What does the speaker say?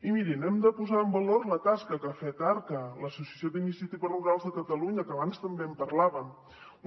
i mirin hem de posar en valor la tasca que ha fet arca l’associació d’iniciatives rurals de catalunya que abans també en parlàvem